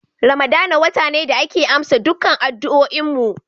Ramadana wata ne da ake amsa dukkan addu'oin mu.